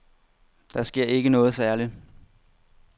Der sker ikke noget særligt.